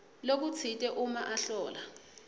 lokutsite uma ahlola